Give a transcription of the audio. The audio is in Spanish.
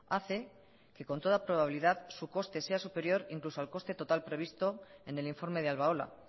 hace que con toda probabilidad su coste sea superior incluso al coste total previsto en el informe de albaola